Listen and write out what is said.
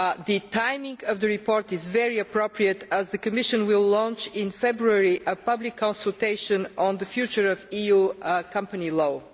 The timing of the report is very appropriate as the Commission will launch, in February, a public consultation on the future of EU company law.